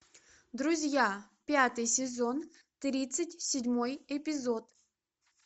друзья пятый сезон тридцать седьмой эпизод